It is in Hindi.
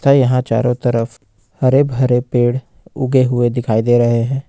यहां चारों तरफ हरे भरे पेड़ उगे हुए दिखाई दे रहे हैं।